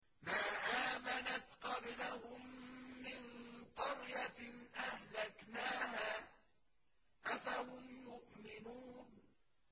مَا آمَنَتْ قَبْلَهُم مِّن قَرْيَةٍ أَهْلَكْنَاهَا ۖ أَفَهُمْ يُؤْمِنُونَ